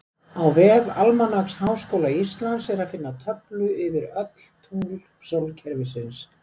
Á vef Almanaks Háskóla Íslands er að finna töflu yfir öll tungl sólkerfisins.